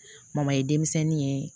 ye denmisɛnnin ye